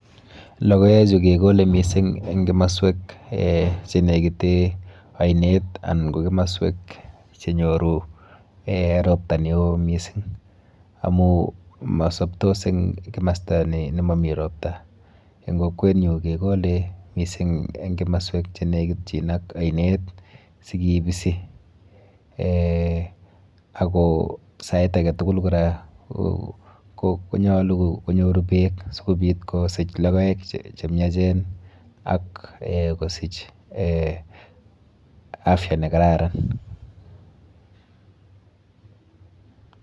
Logoechu kekole mising eng kimaswek chenekite ainet anan ko kimaswek chenyoru eh ropta neo mising amu masoptos eng kimasta nemami ropta. Eng kokwenyu kekole mising eng kimaswek chenekitchin ak ainet sikibisi eh ako sait aketugul kora konyolu konyoru beek sikopit kosich logoek chemiachen ak kosich eh afya nekararan.